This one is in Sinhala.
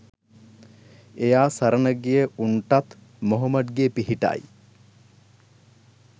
එයා සරණ ගිය උන්ටත් මොහොමඩ්ගේ පිහිටයි.